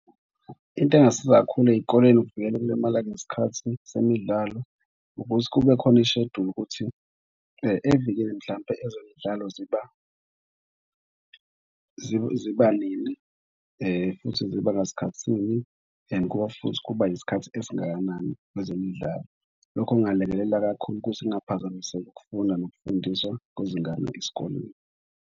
Into engasiza kakhulu ey'koleni ukuvikela ukulimala ngesikhathi semidlalo ukuthi kube khona isheduli ukuthi evikini mhlampe ezemidlalo ziba ziba nini, futhi ziba ngesikhathi sini and kuba futhi kuba isikhathi esingakanani ezemidlalo. Lokhu kungalekelela kakhulu ukuthi kungaphazamiseki ukufunda nokufundiswa kwezingane esikolweni.